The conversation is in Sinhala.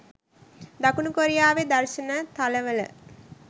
දකුණු කොරියාවේ දර්ශන තල වල